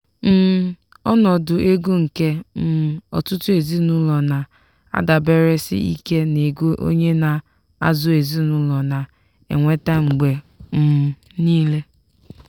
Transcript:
um ọnọdụ ego nke um ọtụtụ ezinụlọ na-adaberesi ike n'ego onye na-azụ ezinụlọ na-enweta mgbe um niile.